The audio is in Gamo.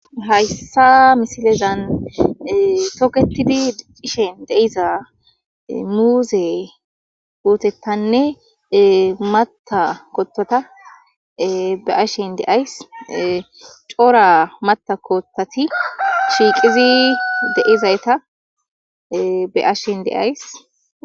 hayssa misilezan toketidi dicishen de'iza muuze putettanne matta kotota be'ashen de'ays coora mata kootati shiiqizi de'izayta be'ashshen de'ays